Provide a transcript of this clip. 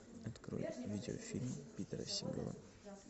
открой видеофильм питера сигала